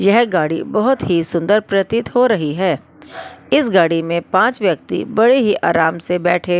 यह गाड़ी बहुत ही सुंदर प्रतीत हो रही है इस गाड़ी में पांच व्यक्ति बड़े ही आराम से बैठे--